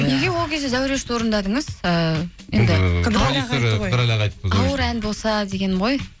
неге ол кезде зәурешті орындадыңыз ыыы енді ауыр ән болса дегенім ғой